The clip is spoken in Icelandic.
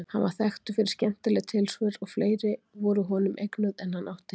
Hann var þekktur fyrir skemmtileg tilsvör og fleiri voru honum eignuð en hann átti.